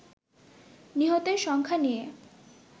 নিহতের সংখ্যা নিয়ে